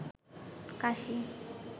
কাশি